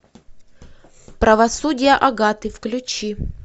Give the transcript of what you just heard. правосудие агаты включи